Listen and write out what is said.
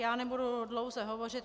Já nebudu dlouze hovořit.